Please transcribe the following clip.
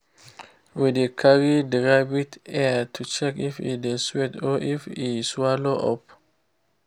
we dey carry the rabbit ear to check if e dey sweat or if e swallow up